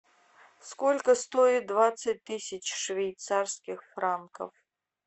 сколько стоит двадцать тысяч швейцарских франков